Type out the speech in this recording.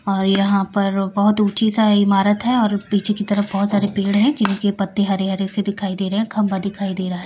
और यहां पर बहुत ऊंची सा इमारत है और पीछे की तरफ बहुत सारे पेड़ हैं जिनके पत्ते हरे-हरे से दिखाई दे रहे हैं खंभा दिखाई दे रहा है।